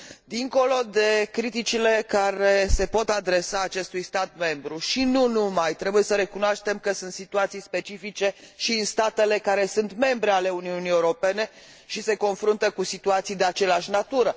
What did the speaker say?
Dincolo de criticile care se pot adresa acestui stat membru și nu numai, trebuie să recunoaștem că sunt situații specifice și în statele care sunt membre ale Uniunii Europene și care se confruntă cu situații de aceeași natură